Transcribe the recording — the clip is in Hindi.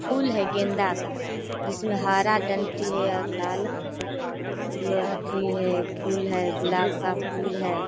फूल है गेदा का जिसमें हरा डंडी है और लाल फूल है गुलाब का फूल है।